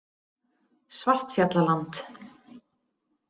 Svartfjallaland